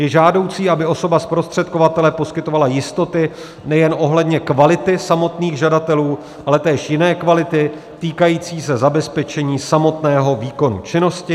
Je žádoucí, aby osoba zprostředkovatele poskytovala jistoty nejen ohledně kvality samotných žadatelů, ale též jiné kvality týkající se zabezpečení samotného výkonu činnosti.